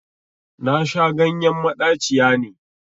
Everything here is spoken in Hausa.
Nasha ganyen maɗaciya ne